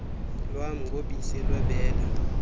lwam ngobisi lwebele